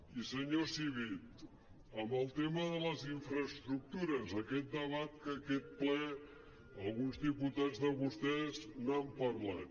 i senyor civit en el tema de les infraestructures aquest debat que en aquest ple alguns diputats de vostès n’han parlat